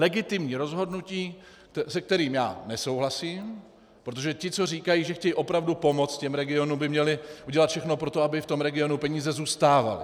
Legitimní rozhodnutí, se kterým já nesouhlasím, protože ti, co říkají, že chtějí opravdu pomoc těm regionům, by měli udělat všechno pro to, aby v tom regionu peníze zůstávaly.